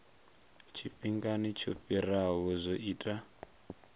tshifhingani tsho fhiraho zwo ita